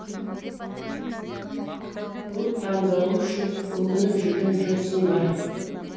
бұл таңдауым үшін өкініп жүрген жоқсың ба